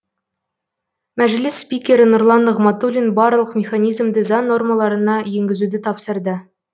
мәжіліс спикері нұрлан нығматулин барлық механизмді заң нормаларына енгізуді тапсырды